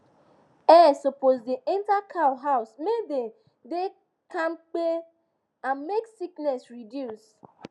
air supppose da enter cow house make dem da kampe and make sickness reduce